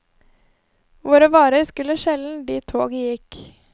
Våre varer skulle sjelden dit toget gikk.